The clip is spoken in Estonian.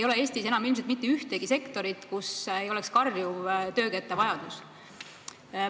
Eestis ei ole enam ilmselt mitte ühtegi sektorit, kus ei oleks karjuv töökäte vajadus.